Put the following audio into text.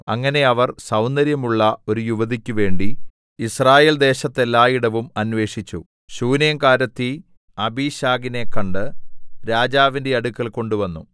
അങ്ങനെ അവർ സൗന്ദര്യമുള്ള ഒരു യുവതിക്കുവേണ്ടി യിസ്രായേൽദേശത്തെല്ലായിടവും അന്വേഷിച്ചു ശൂനേംകാരത്തി അബീശഗിനെ കണ്ട് രാജാവിന്റെ അടുക്കൽ കൊണ്ടുവന്നു